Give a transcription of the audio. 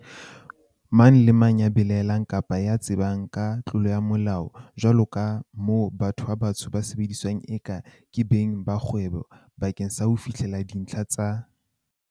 Mang kapa mang ya belae llang kapa ya tsebang ka tlolo ya Molao, jwaloka moo batho ba batsho ba sebediswang eka ke beng ba kgwebo ba keng sa ho fihlella dintlha tsa